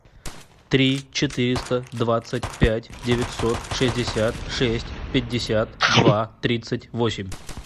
три четыреста двадцать пять девятьсот шестьдесят шесть пятьдесят два тридцать восемь